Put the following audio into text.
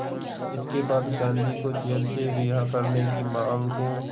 इसके बाद गांधी को जेल से रिहा करने की मांग को